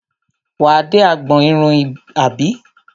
Wà á dé agbọn irun àbí?